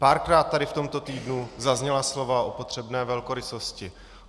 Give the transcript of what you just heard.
Párkrát tady v tomto týdnu zazněla slova o potřebné velkorysosti.